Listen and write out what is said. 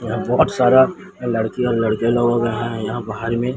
यहां बहुत सारा लड़की और लड़के लोग यहां हैं यहां बाहर में।